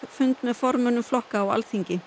fund með formönnum flokkanna á Alþingi